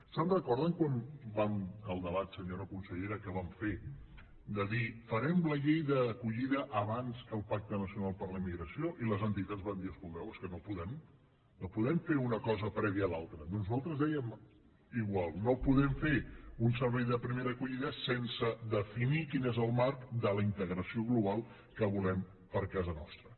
se’n recorden del debat senyora consellera que vam fer de dir farem la llei d’acollida abans que el pacte nacional per a la immigració i les entitats van dir escolteu és que no podem no podem fer una cosa prèvia a l’altra doncs nosaltres ho dèiem igual no podem fer un servei de primera acollida sense definir quin és el marc de la integració global que volem per a casa nostra